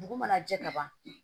Dugu mana jɛ ka ban